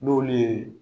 N'olu ye